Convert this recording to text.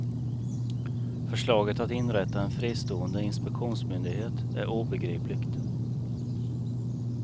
Förslaget att inrätta en fristående inspektionsmyndighet är obegripligt.